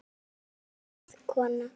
Anna María var góð kona.